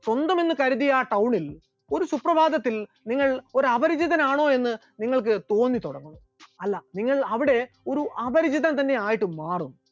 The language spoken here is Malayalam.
സ്വന്തമെന്ന് കരുതിയ town ൽ ഒരു സുപ്രഭാതത്തിൽ നിങ്ങൾ ഒരു അപരിചിതനാണോ എന്ന് നിങ്ങൾക്ക് തോന്നിതുടങ്ങും, അല്ല നിങ്ങൾ അവിടെ ഒരു അപരിചിതൻ ആയിട്ട് തന്നെ മാറും.